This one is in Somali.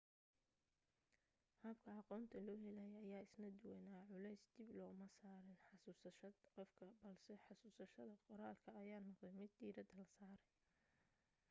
habka aqoonta loo helayay ayaa isna duwanaa culays dib looma saarin xasuusashad qofka balse xasuusashada qoraalka ayaa noqotay mid diiradda la saaray